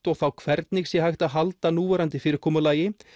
og þá hvernig sé hægt að halda núverandi fyrirkomulagi